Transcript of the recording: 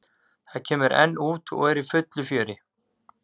Það kemur enn út og er í fullu fjöri.